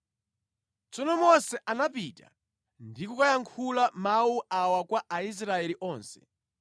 Tsono Mose anapita ndi kukayankhula mawu awa kwa Aisraeli onse: